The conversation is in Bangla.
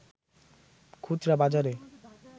খুচরা বাজারে